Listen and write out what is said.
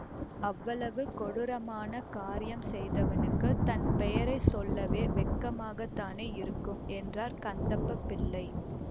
அவ்வளவு கொடூரமான காரியம் செய்தவனுக்குத் தன் பெயரை சொல்லவே வெட்கமாகத் தானே இருக்கும் என்றார் கந்தப்பப் பிள்ளை